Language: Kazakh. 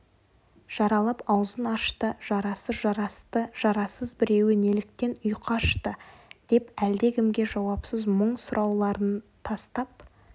жаралап аузын ашты жарасы жарасты жарасыз біреуі неліктен ұйқы ашты деп әлдекімге жауапсыз мұң сұрауларын тастап